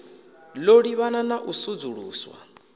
ḓo livhana na u sudzuluswa